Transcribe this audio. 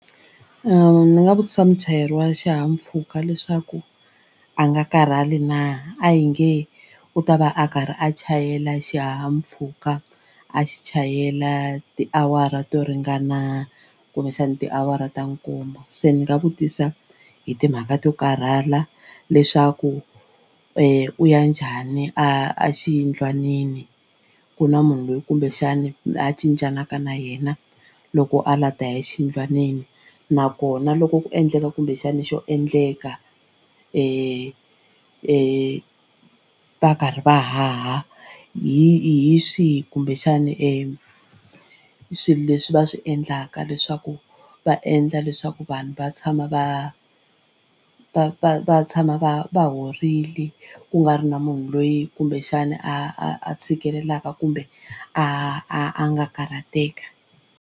Ni nga vutisa muchayeri wa xihahampfhuka leswaku a nga karhali na a hi nge u ta va a karhi a chayela xihahampfhuka a xi chayela tiawara to ringana kumbexani tiawara ta nkombo se ni nga vutisa hi timhaka to karhala leswaku u ya njhani a xiyindlwanini ku na munhu loyi kumbexani a cincaka na yena loko a la ta ya exiyindlwanini nakona loko ku endleka kumbexana xo endleka va karhi va haha hi hi swihi kumbexani swilo leswi va swi endlaka leswaku va endla leswaku vanhu va tshama va va va va tshama va va horile ku nga ri na munhu loyi kumbexana a a tshikelelaka kumbe a a nga karhateka.